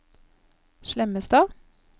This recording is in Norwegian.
Slemmestad